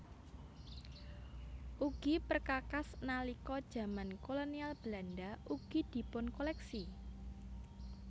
Ugi perkakas nalika jaman Kolonial Belanda ugi dipunkoléksi